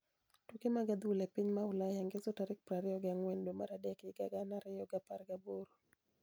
Tuke mag adhula e piny ma Ulaya ngeso tarik prariyo gi ang'wen dwe mar adek higa gana ariyo gi apar gaboro .